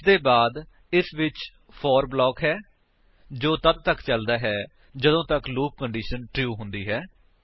ਇਸਦੇ ਬਾਅਦ ਇਸ ਵਿੱਚ ਫੋਰ ਬਲਾਕ ਹੈ ਜੋ ਤੱਦ ਤੱਕ ਚਲਦਾ ਹੈ ਜਦੋਂ ਤੱਕ ਲੂਪ ਕੰਡੀਸ਼ਨ ਟਰੂ ਹੁੰਦੀ ਹੈ